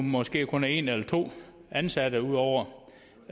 måske kun er en eller to ansatte ud over